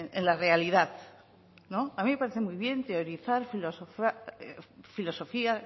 en la realidad a mí me parece muy bien teorizar filosofía